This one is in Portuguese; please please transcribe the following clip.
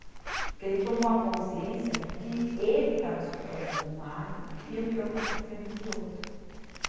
Porque ele tomou a consciência do que ele estava escutando de um lado e o que eu estava fazendo de outro.